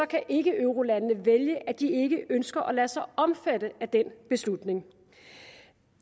kan ikkeeurolandene vælge at de ikke ønsker at lade sig omfatte af den beslutning